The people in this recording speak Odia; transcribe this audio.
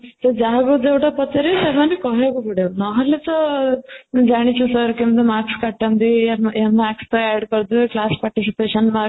ସେ ଯାହାକୁ ଯୋଉଟା ପଚାରିବେ ସେମାନେ କହିବାକୁ ପଡିବ ନହଲେତ ଜାଣିଛୁ sir କେମିତି marks କାଟନ୍ତି ଆମ ଏ marks ଟା ADD କରିଦେବେ class participation